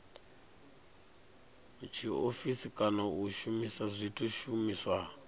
tshiofisi kana u shumisa zwishumiswa